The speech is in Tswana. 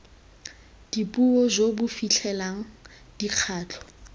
dipuo jo bo fitlhelelang dikgato